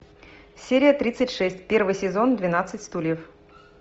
серия тридцать шесть первый сезон двенадцать стульев